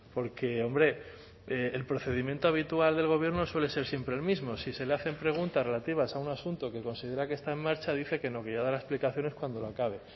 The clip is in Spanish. porque hombre el procedimiento habitual del gobierno suele ser siempre el mismo si se le hacen preguntas relativas a un asunto que considera que está en marcha dice que no que ya dará explicaciones cuando lo acabe